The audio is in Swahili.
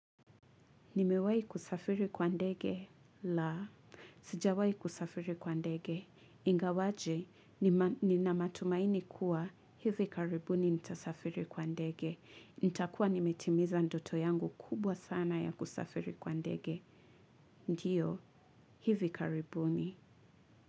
Nimewahi kusafiri kwa ndege, laa sijawahi kusafiri kwa ndege, ingawaje nina matumaini kuwa, hivi karibuni nitasafiri kwa ndege, nitakua nimetimiza ndoto yangu kubwa sana ya kusafiri kwa ndege, ndio, hivi karibuni.